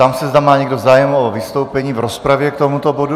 Ptám se, zda má někdo zájem o vystoupení k rozpravě k tomuto bodu.